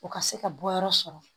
O ka se ka bɔ yɔrɔ sɔrɔ